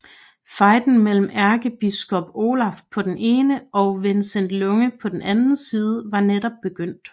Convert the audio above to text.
Fejden mellem ærkebiskop Olaf på den ene og Vincents Lunge på den anden side var netop begyndt